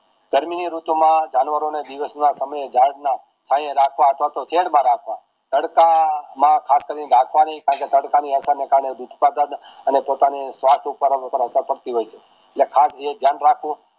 ગરમી ની ઋતુ માં જાનવરો ને દિવસ ના અથવા તો શેડ માં રાખવા કરતા માં ખાતરી રાખવાની કારણ કે તડકાને કારણે અને પોતાની સ્વાસ્થ ઉપર અસર પડતી હોય છે ને ખાસ એ દયાન રાખવું